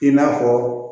I n'a fɔ